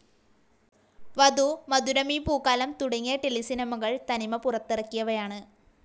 വധു, മധുരമീ പൂക്കാലം, തുടങ്ങിയ ടെലിസിനിമകൾ തനിമ പുറത്തിറക്കിയവയാണ്.